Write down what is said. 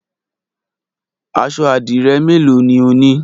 Aṣọ àdìrẹ́ mélòó ni o ní?